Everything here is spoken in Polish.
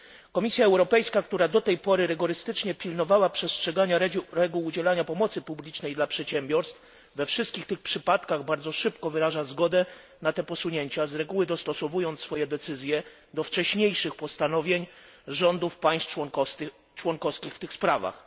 Komisja Europejska, która do tej pory rygorystycznie pilnowała przestrzegania reguł udzielania pomocy publicznej dla przedsiębiorstw, we wszystkich tych przypadkach bardzo szybko wyraża zgodę na te posunięcia, z reguły dostosowując swoje decyzje do wcześniejszych postanowień rządów państw członkowskich w tych sprawach.